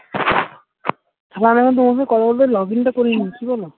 আমার এখন তোমার সাথে কথা বলতে login টা করে নি ঠিক আছে